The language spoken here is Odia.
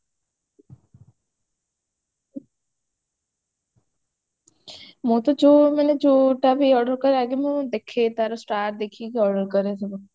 ମୁଁ ତ ଯୋଉ ମାନେ ଯୋଉଟା ବି order କରେ ଆଗେ ମୁଁ ଦେଖେ ତାର star ଦେଖିକି order କରେ ସବୁ